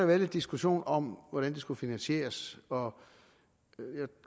været lidt diskussion om hvordan det skulle finansieres og